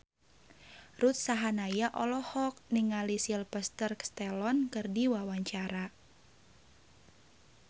Ruth Sahanaya olohok ningali Sylvester Stallone keur diwawancara